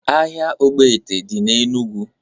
Ahia ọgbete dị na Enụgwụ